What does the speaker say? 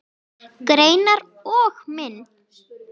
Greinar og mynd